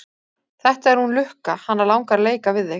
Þetta er hún Lukka, hana langar að leika við þig.